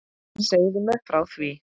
Segðu mér frá því.